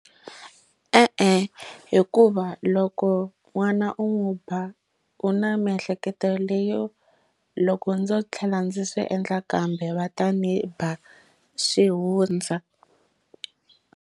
E-e hikuva loko n'wana u n'wi ba u na miehleketo leyo loko ndzo tlhela ndzi swi endla kambe va ta ndzi ba swi hundza.